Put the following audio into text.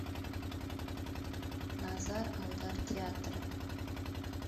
назар аудар театра